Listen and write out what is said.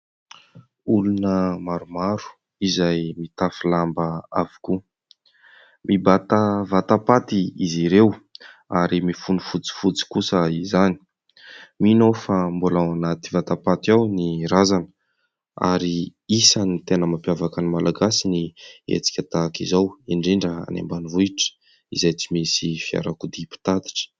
Olona maromaro izay mitafy lamba avokoa, mibata vatam-paty izy ireo ary mifono fotsifotsy kosa izany. Mino aho fa mbola ao anaty vatam-paty ao ny razana ary isan'ny tena mampiavaka ny Malagasy ny hetsika tahaka izao indrindra any ambanivohitra izay tsy misy fiarakodia mpitatitra.